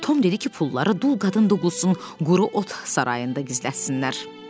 Tom dedi ki, pulları dul qadın Duqlusunun quru ot sarayında gizlətsinlər.